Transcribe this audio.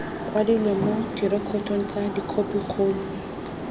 kwadilwe mo direkotong tsa khopikgolo